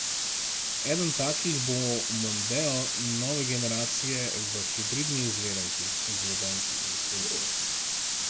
Eden takih bo mondeo nove generacije v hibridni izvedenki.